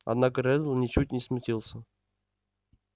однако реддл ничуть не смутился